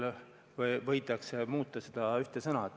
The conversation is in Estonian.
Ja ka seaduse väljakuulutamisel võidakse muuta seda ühte sõna.